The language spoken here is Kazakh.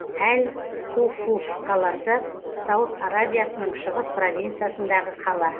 әл хуфуф қаласы сауд арабиясының шығыс провинциясындағы қала